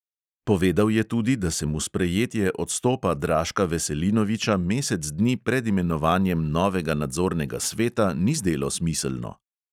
Povedal je tudi, da se mu sprejetje odstopa draška veselinoviča mesec dni pred imenovanjem novega nadzornega sveta ni zdelo smiselno.